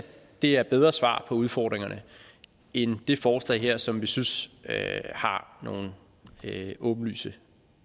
det er bedre svar på udfordringerne end det forslag her som vi synes har nogle åbenlyse